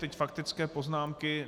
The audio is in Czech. Teď faktické poznámky.